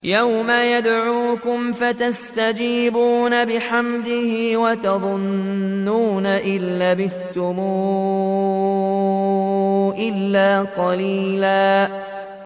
يَوْمَ يَدْعُوكُمْ فَتَسْتَجِيبُونَ بِحَمْدِهِ وَتَظُنُّونَ إِن لَّبِثْتُمْ إِلَّا قَلِيلًا